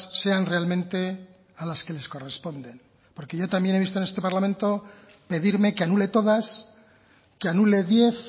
sean realmente a las que les corresponden porque yo también he visto en este parlamento pedirme que anule todas que anule diez